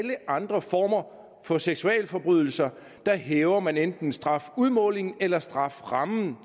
andre former for seksualforbrydelser hæver man enten strafudmålingen eller strafferammen